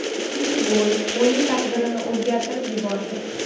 Ikkinchi gol o‘yin taqdirini o‘zgartirib yubordi.